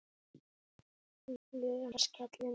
Flugan skellur niður.